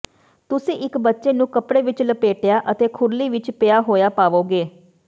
ਤੁਸੀਂ ਇੱਕ ਬੱਚੇ ਨੂੰ ਕੱਪੜੇ ਵਿੱਚ ਲਪੇਟਿਆ ਅਤੇ ਖੁਰਲੀ ਵਿੱਚ ਪਿਆ ਹੋਇਆ ਪਾਵੋਗੇ